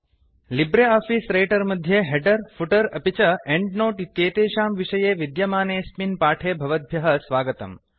Libre office writer मध्ये header footer अपि च एंड नोट इत्येतेषां विषये विद्यमानेऽस्मिन् पाठे भवद्भ्यः स्वागतम्